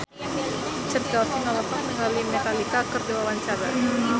Chand Kelvin olohok ningali Metallica keur diwawancara